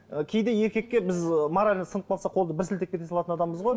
ы кейде еркекке біз морально сынып қалсақ қолды бір сілтеп кете салатын адамбыз ғой